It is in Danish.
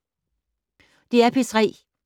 DR P3